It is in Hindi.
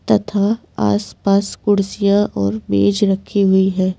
तथा आसपास कुर्सियां और मेज़ रखी हुई है रेस्टोरेंट ।